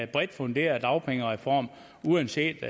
bredt funderet dagpengereform uanset